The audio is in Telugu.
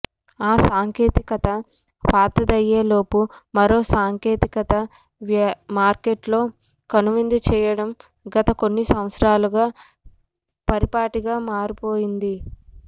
ఆ సాంకేతికత పాతదయ్యేలోపు మరో సాంకేతికత మార్కెట్లో కనువిందు చేయటం గత కొన్ని సంవత్సరాలుగా పరిపాటిగా మారిపోయింది